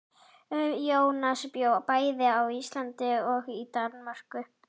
Jónas bjó bæði á Íslandi og í Danmörku.